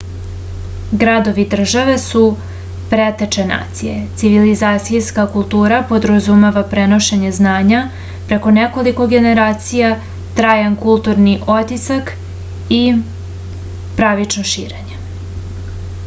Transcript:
gradovi-države su preteče nacija civilizacijska kultura podrazumeva prenošenje znanja preko nekoliko generacija trajan kulturni otisak i pravično širenje